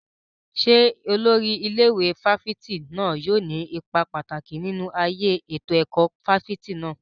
Ṣé olórí ilé ìwé fáfitì náà yóò ní ipa pàtàkì nínú ayé ètò ẹ̀kọ́ fáfitì náà?